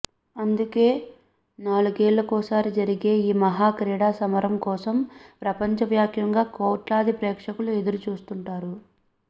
అందుకే నాలుగేళ్లకోసారి జరిగే ఈ మహా క్రీడా సమరం కోసం ప్రపంచవ్యాప్తంగా కోట్లాది ప్రేక్షకులు ఎదురు చూస్తుంటారు